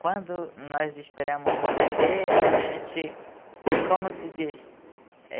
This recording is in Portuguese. Quando nós esperamos um bebê, a gente... Como se diz?